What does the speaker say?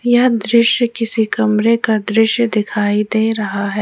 यह दृश्य किसी कमरे का दृश्य दिखाई दे रहा है।